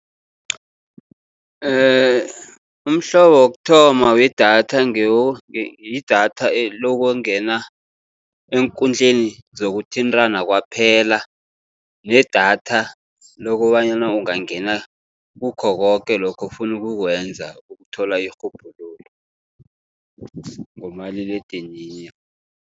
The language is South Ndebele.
Umhlobo wokuthoma wedatha, yidatha lokungena eenkundleni zokuthintana kwaphela. Nedatha lokobanyana ungangena kukho koke lokho ofuna ukukwenza ukuthola irhubhululo ngomaliledinini.